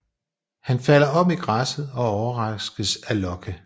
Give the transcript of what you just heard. Han falder om i græsset og overraskes af Locke